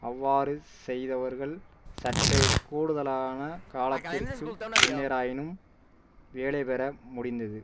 அவ்வாறு செய்தவர்கள் சற்றே கூடுதலான காலத்திற்கு பின்னராயினும் வேலை பெற முடிந்தது